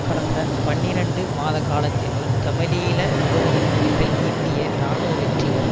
கடந்த பனிரண்டு மாத காலத்தினுள் தமிழீழ விடுதலை புலிகள் ஈட்டிய இராணுவ வெற்றிகள்